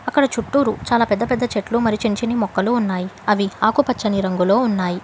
అక్కడ చుట్టూరు చాలా పెద్ద పెద్ద చెట్లు చిన్న చిన్న మొక్కలు ఉన్నాయి అవి ఆకుపచ్చని రంగులో ఉన్నాయి.